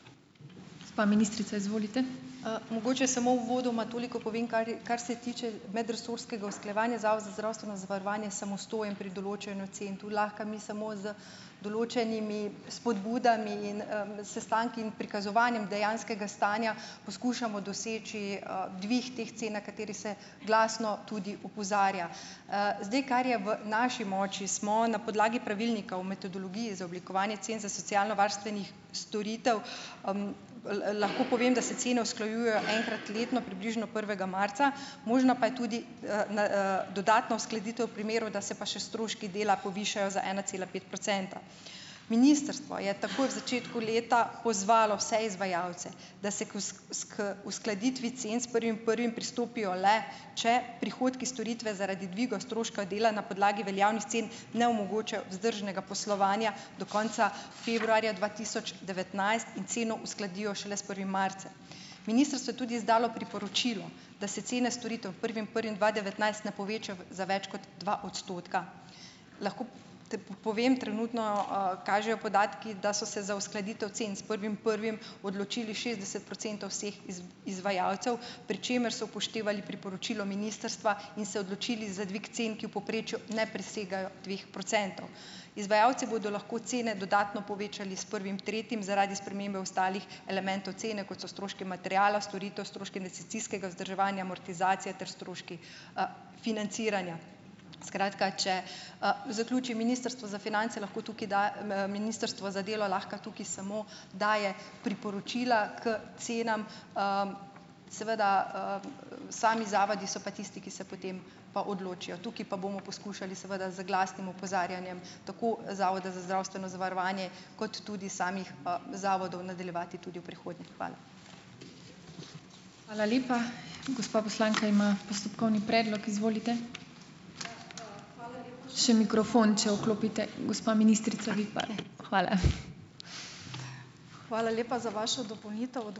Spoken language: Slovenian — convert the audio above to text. Mogoče samo uvodoma toliko povem, kar je, kar se tiče medresorskega usklajevanja, je Zavod za zdravstveno zavarovanje samostojen pri določanju cen. Tu lahko mi samo z določenimi spodbudami in, sestanki in prikazovanjem dejanskega stanja, poskušamo doseči, dvig teh cen, na katerega se glasno tudi opozarja. Zdaj, kar je v naši moči, smo na podlagi pravilnika o metodologiji za oblikovanje cen za socialnovarstvene storitve, lahko povem, da se cene usklajujejo enkrat letno, približno prvega marca, možna pa je tudi, na, dodatna uskladitev v primeru, da se pa še stroški dela povišajo za ena cela pet procenta. Ministrstvo je takoj v začetku leta pozvalo vse izvajalce, da se k uskladitvi cen s prvim prvim pristopijo le, če prihodki storitve zaradi dviga stroška dela na podlagi veljavnih cen ne omogočajo vzdržnega poslovanja do konca februarja dva tisoč devetnajst in ceno uskladijo šele s prvim marcem. Ministrstvo je tudi izdalo priporočilo, da se cene storitev prvim prvim dva devetnajst ne povečajo v za več kot dva odstotka. Lahko te po povem - trenutno, kažejo podatki, da so se za uskladitev cen s prvim prvim, odločili šestdeset procentov vseh izvajalcev, pri čemer so upoštevali priporočilo ministrstva in se odločili za dvig cen, ki v povprečju ne presegajo dveh procentov. Izvajalci bodo lahko cene dodatno povečali s prvim tretjim zaradi spremembe ostalih elementov cene, kot so stroški materiala, storitev, stroški investicijskega vzdrževanja, amortizacija ter stroški, financiranja. Skratka, če, zaključim. Ministrstvo za finance lahko tukaj da, ministrstvo za delo lahko tukaj samo daje priporočila k cenam, seveda, sami zavodi so pa tisti, ki se potem pa odločijo. Tukaj pa bomo poskušali seveda z glasnim opozarjanjem tako Zavoda za zdravstveno zavarovanje, kot tudi samih, zavodov nadaljevati tudi v prihodnje. Hvala.